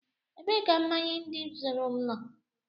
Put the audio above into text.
Ebee ka mmanya ndị m zuru nọ?